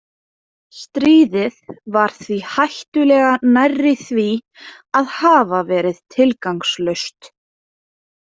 Stríðið var því hættulega nærri því að hafa verið tilgangslaust.